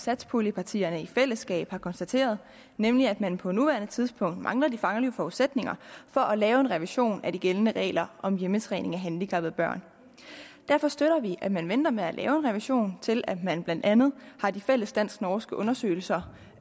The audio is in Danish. satspuljepartierne i fællesskab har konstateret nemlig at man på nuværende tidspunkt mangler de faglige forudsætninger for at lave en revision af de gældende regler om hjemmetræning af handicappede børn derfor støtter vi at man venter med at lave en revision til at man blandt andet har de fælles dansk norske undersøgelser